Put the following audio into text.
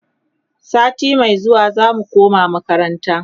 sati Mai zuwa zamu koma makaranta